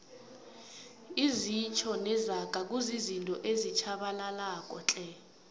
izitjho nezaga kuzizinto ezitjhabalalako tle